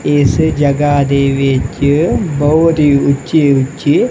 ਇਸ ਜਗਹਾ ਦੇ ਵਿੱਚ ਬਹੁਤ ਹੀ ਉੱਚੇ ਉੱਚੇ--